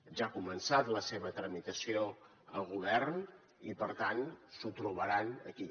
ja ha començat la seva tramitació al govern i per tant s’ho trobaran aquí